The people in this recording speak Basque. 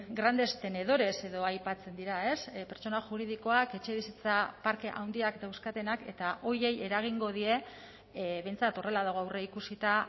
grandes tenedores edo aipatzen dira pertsona juridikoak etxebizitza parke handiak dauzkatenak eta horiei eragingo die behintzat horrela dago aurreikusita